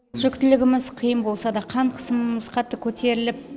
жүктілігіміз қиын болса да қан қысымымыз қатты көтеріліп